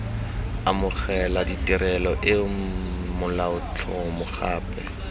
amogela tirelo eo molaotlhomo gape